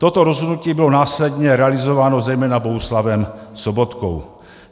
Toto rozhodnutí bylo následně realizováno zejména Bohuslavem Sobotkou.